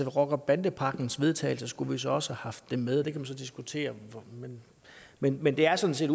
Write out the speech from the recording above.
rocker bande pakkens vedtagelse skulle vi så også have haft det med og det kan man så diskutere men men det er sådan set